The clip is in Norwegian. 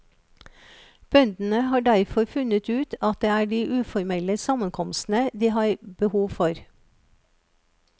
Bøndene har derfor funnet ut at det er de uformelle sammenkomstene de har behov for.